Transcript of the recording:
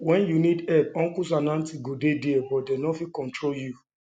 when you need help uncles and aunties go dey there but dem no fit control you